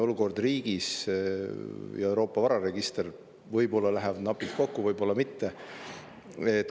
Olukord riigis ja Euroopa vararegister – võib-olla läheb napilt kokku, võib-olla mitte.